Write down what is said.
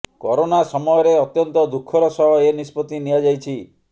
corona ସମୟରେ ଅତ୍ୟନ୍ତ ଦୁଃଖର ସହ ଏ ନିଷ୍ପତ୍ତି ନିଆଯାଇଛି